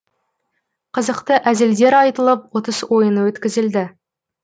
қызықты әзілдер айтылып ұтыс ойыны өткізілді